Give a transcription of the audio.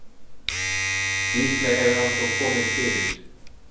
Líklega hefur hann þó komið fyrir.